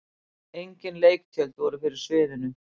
Engin leiktjöld voru fyrir sviðinu.